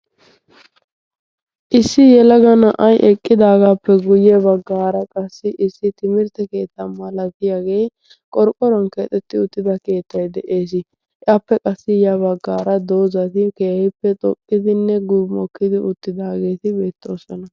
issi yelaga na'ay eqqidaagaappe guyye baggaara qassi issi timirtte keetta malatiyaagee qorqqoron keexetti uttida keettai de'ees. appe qassi ya baggaara doozati keehippe xoqqidinne gumokkidi uttidaageeti beettoossana.